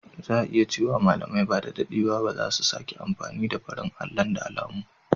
Za a iya cewa malamai ba da daɗewa ba za su sake amfani da farin allon da alamun.